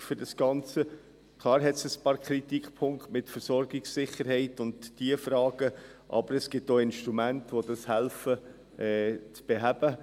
Klar: Es gibt ein paar Kritikpunkte mit der Versorgungssicherheit und diesen Fragen, aber es gibt auch Instrumente, die helfen, dies zu beheben.